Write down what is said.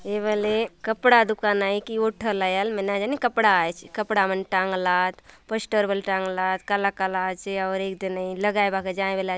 ए वाला कपड़ा दुकान आए केव थाल आएल न जाने कपड़ा आएचए पोस्टर वाल टांग लाए और एक दिने लगाए--